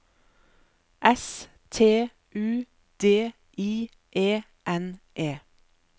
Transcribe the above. S T U D I E N E